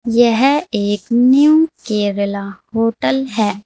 यह एक नई केरला होटल है।